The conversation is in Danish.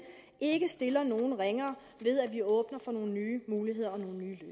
ikke stiller nogen ringere ved at vi åbner for nogle nye muligheder